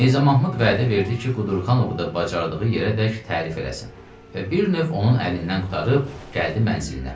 Mirzə Mahmud vədə verdi ki, Qudurqanovu da bacardığı yerədək tərif eləsin və bir növ onun əlindən qurtarıb gəldi mənzilinə.